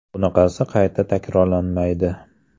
Bunaqasi qayta takrorlanmaydi.